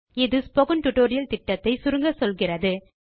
அது spoken tutorial திட்டத்தை சுருங்கச்சொல்கிறது